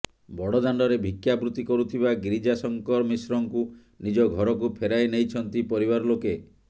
ବଡ଼ଦାଣ୍ଡରେ ଭିକ୍ଷା ବୃତି କରୁଥିବା ଗିରିଜା ଶଙ୍କର ମିଶ୍ରଙ୍କୁ ନିଜ ଘରକୁ ଫେରାଇ ନେଇଛନ୍ତି ପରିବାର ଲୋକେ